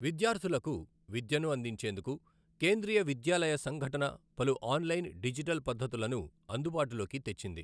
విద్యార్ధులకు విద్యను అందించేందుకు కేంద్రీయ విద్యాలయ సంఘటన పలు ఆన్లైన్, డిజిటల్ పద్జతులను అందుబాటులోకి తెచ్చింది.